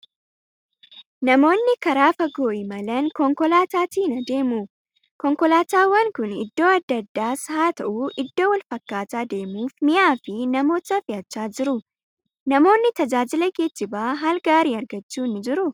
Namoonni karaa fagoo imalan konkolaataatiin adeemu. Konkolaataawwan kun iddoo adda addaas haa ta'u, iddoo wal fakkaataa deemuuf mi'aa fi namoota fe'achaa jiru. Namoonni tajaajila geejjibaa haal gaariin argachuu ni jiruu?